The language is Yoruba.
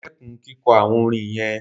Stop singing those chants